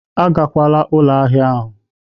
Agakwala ụlọ ahịa ahịa!